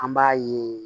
An b'a ye